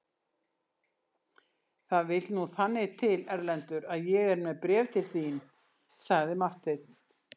Það vill nú þannig til Erlendur að ég er með bréf til þín, sagði Marteinn.